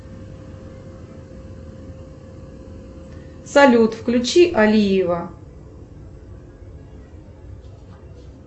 салют включи алиева